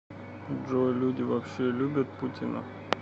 джой люди вообще любят путина